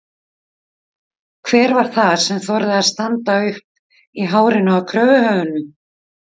Hver var það sem þorði að standa uppi í hárinu á kröfuhöfunum?